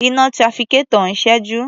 Iná trafficator ń ṣẹ́jú.